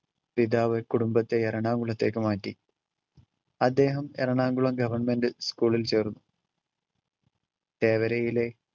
പിതാവ് കുടുംബത്തെ എറണാകുളത്തേക്ക് മാറ്റി. അദ്ദേഹം എറണാകുളം government school ളിൽ ചേർന്നു. തേവരയിലെ